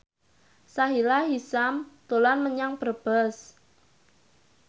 Sahila Hisyam dolan menyang Brebes